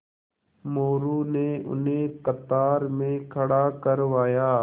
मोरू ने उन्हें कतार में खड़ा करवाया